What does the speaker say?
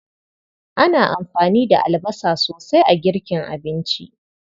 Ana amfani da albasa sosai a girkin abinci.